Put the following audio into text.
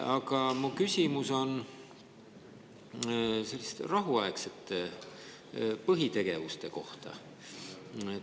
Aga mu küsimus on rahuaegsete põhitegevuste kohta.